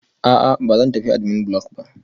A'a, ba zan tafi admin block ba